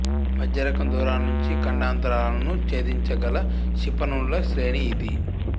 మధ్యరకం దూరాల నుంచి ఖండాంతరాలను ఛేదించగల క్షిపణుల శ్రేణి ఇది